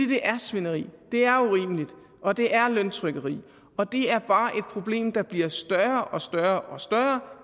det er svineri det er urimeligt og det er løntrykkeri og det er bare et problem der bliver større og større og større